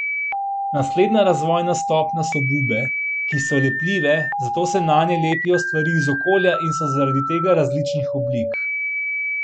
Naslednja razvojna stopnja so bube, ki so lepljive, zato se nanje lepijo stvari iz okolja in so zaradi tega različnih oblik.